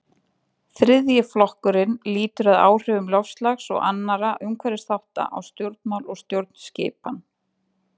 þriðji flokkurinn lýtur að áhrifum loftslags og annarra umhverfisþátta á stjórnmál og stjórnskipan